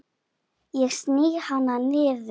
Ég sný hana niður.